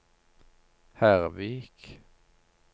Hervik